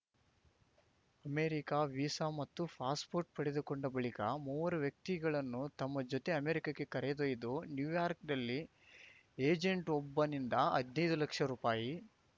America visa ಮತ್ತು passport ಪಡೆದುಕೊಂಡ ಬಳಿಕ ಮೂವರು ವ್ಯಕ್ತಿಗಳನ್ನು ತಮ್ಮ ಜೊತೆ ಅಮೆರಿಕಕ್ಕೆ ಕರೆದೊಯ್ದು ನ್ಯೂಯಾರ್ಕ್ನಲ್ಲಿ ಏಜೆಂಟ್‌ವೊಬ್ಬನಿಂದ ಹದ್ನೈದು ಲಕ್ಷ ರೂಪಾಯಿ